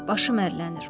Başım ərlənir.